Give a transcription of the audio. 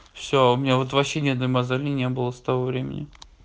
все у меня вот вообще ни одной мозоли не было с того времени